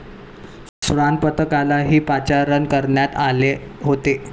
श्वानपथकालाही पाचारण करण्यात आले होते.